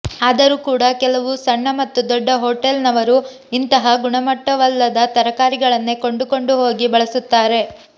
ಆದರೂ ಕೂಡ ಕೆಲವು ಸಣ್ಣ ಮತ್ತು ದೊಡ್ಡ ಹೊಟೇಲ್ ನವರು ಇಂತಹ ಗುಣಮಟ್ಟವಲ್ಲದ ತರಕಾರಿಗಳನ್ನೇ ಕೊಂಡುಕೊಂಡು ಹೋಗಿ ಬಳಸುತ್ತಾರೆ